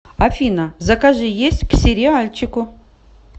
афина закажи есть к сериальчику